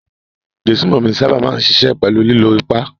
Ìgbésùnmòmí sábà máa ń níṣe pẹ̀lú ìlò ipá.